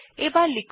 এবার লিখুন